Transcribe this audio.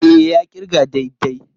E, ya ƙirga daidai.